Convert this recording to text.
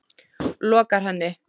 lokar henni.